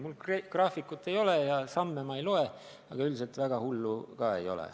Mul graafikut ei ole ja samme ma ei loe, aga üldiselt midagi väga hullu ei ole.